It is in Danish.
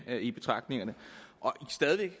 i betragtningerne stadig